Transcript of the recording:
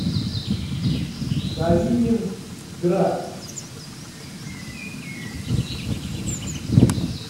калининград